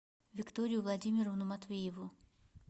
викторию владимировну матвееву